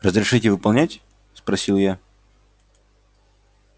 разрешите выполнять спросил я